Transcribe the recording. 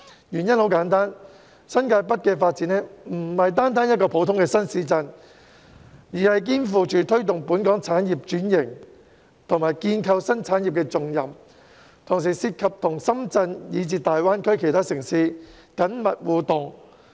原因很簡單，新界北發展不僅是一個新市鎮的發展，更肩負推動本港產業轉型及建構新產業的重任，同時亦涉及與深圳以至大灣區其他城市的緊密互動。